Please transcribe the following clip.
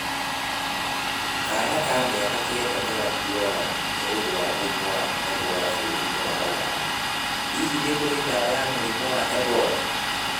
Kaana ka mĩaka kenda nĩ gakuaga nĩ ũndũ wa mũrimũ wa Ebora bũrũri-inĩ wa Ũganda. Hihi, nĩ kũrĩ ndawa ya mũrimu Ebora?